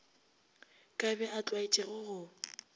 ka be a tlwaetše go